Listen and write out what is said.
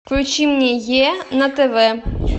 включи мне е на тв